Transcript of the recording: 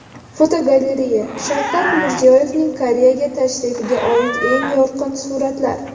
Fotogalereya: Shavkat Mirziyoyevning Koreyaga tashrifiga oid eng yorqin suratlar.